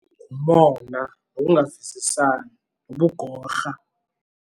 Ngumona nokungavisisani nobugorha.